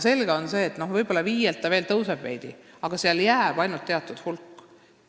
Selge on see, et võib-olla tõuseb osalus 5%-lt veel veidi kõrgemale, aga sellega jääb tegelema ainult teatud hulk rühmasid.